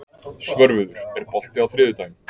Svörfuður, er bolti á þriðjudaginn?